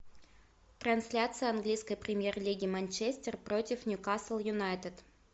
трансляция английской премьер лиги манчестер против ньюкасл юнайтед